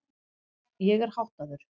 Ég er háttaður.